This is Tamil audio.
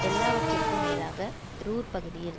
எல்லாவற்றிற்கும் மேலாக ரூர் பகுதியில்